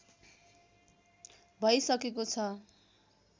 भै सकेको छ